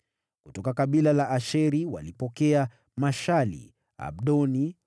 Kutoka kabila la Asheri walipokea Mashali, Abdoni,